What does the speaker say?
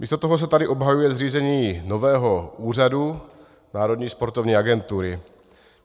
Místo toho se tady obhajuje zřízení nového úřadu, Národní sportovní agentury.